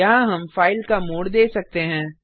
यहाँ हम फाइल का मोड दे सकते हैं